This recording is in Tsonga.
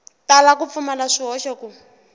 tala ku pfumala swihoxo ku